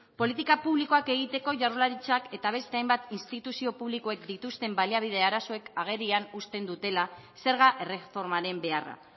politika publikoak egiteko jaurlaritzak eta beste hainbat instituzio publikoek dituzten baliabide arazoek agerian uzten dutela zerga erreformaren beharra